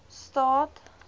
staad